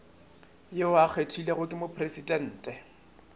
yo a kgethilwego ke mopresidente